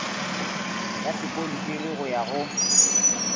ya sekontiri go ya go